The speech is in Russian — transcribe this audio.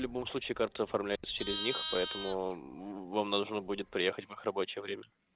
в любом случае карта оформляется через них поэтому вам нужно будет приехать в их рабочее время